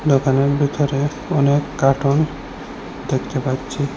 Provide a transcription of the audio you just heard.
দোকানের ভিতরে অনেক কাটোন দেখতে পাচ্ছি।